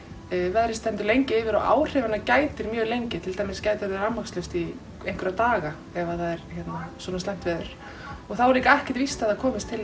veðrið stendur lengi yfir og áhrifanna gætir mjög lengi til dæmis orðið rafmagnslaust í einhverja daga ef það er svona slæmt veður þá er líka ekkert víst að það komist til